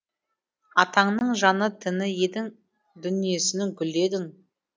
атаңның жаны тіні едің дүниесінің гүлі едің